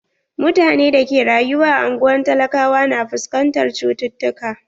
Mutane da ke rayuwa a anguwan talakawa na fuskantar cututukka.